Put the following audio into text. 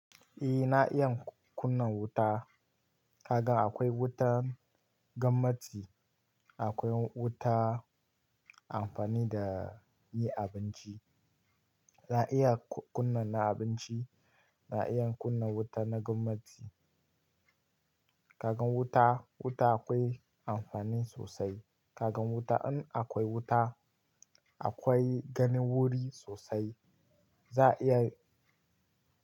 Eh na iya kunna wuta. Kaga akwai wuta, gamarci akwai wuta amfani da yi abinci. Na iya kunna na abinci, na iya kunna wuta na gwamnati. Kaga wuta, wuta akwai amfani sosai. Kaga wuta in akwai wuta, akwai gani wuri sosai. Za a iya.